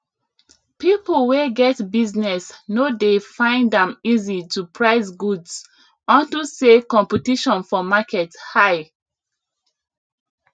people wey get business no dey find am easy to price goods unto say competition for market high